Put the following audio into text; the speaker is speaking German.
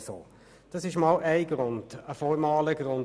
Das ist ein formaler Grund.